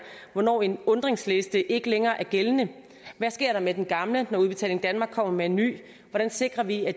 hvornår en undringsliste ikke længere er gældende hvad sker der med den gamle når udbetaling danmark kommer med en ny hvordan sikrer vi at